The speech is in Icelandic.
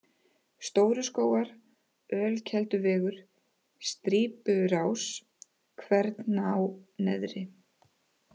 Stóru Skógar, Ölkelduvegur, Strýpurás, Kverná Neðri